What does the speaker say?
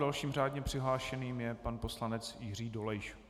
Další řádně přihlášeným je pan poslanec Jiří Dolejš.